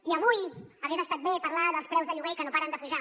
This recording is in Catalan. i avui hagués estat bé parlar dels preus de lloguer que no paren de pujar